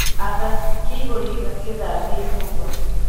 Atha kihūri gīthambie nyūmba